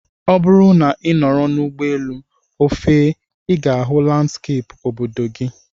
Ọ bụrụ na ị nọrọ n'ụgbọelu, o fee, I ga-ahụ landskeepụ obodo gị